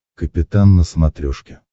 капитан на смотрешке